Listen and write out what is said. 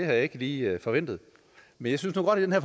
jeg ikke lige forventet men jeg synes nu godt at